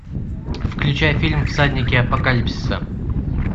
включай фильм всадники апокалипсиса